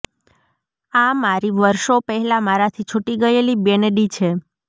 આ મારી વર્ષો પહેલા મારાથી છૂટી ગયેલી બેનડી છે